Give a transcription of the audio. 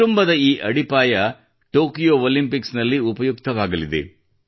ಕುಟುಂಬದ ಈ ಅಡಿಪಾಯ ಟೋಕ್ಯೋ ಒಲಿಂಪಿಕ್ಸ್ ನಲ್ಲಿ ಉಪಯುಕ್ತವಾಗಲಿದೆ